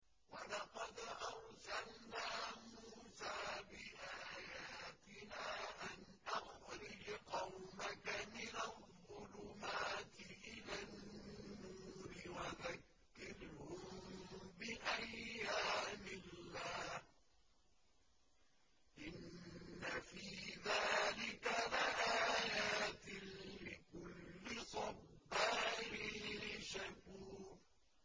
وَلَقَدْ أَرْسَلْنَا مُوسَىٰ بِآيَاتِنَا أَنْ أَخْرِجْ قَوْمَكَ مِنَ الظُّلُمَاتِ إِلَى النُّورِ وَذَكِّرْهُم بِأَيَّامِ اللَّهِ ۚ إِنَّ فِي ذَٰلِكَ لَآيَاتٍ لِّكُلِّ صَبَّارٍ شَكُورٍ